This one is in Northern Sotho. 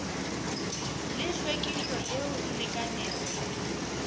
le hlwekišo yeo e lekanego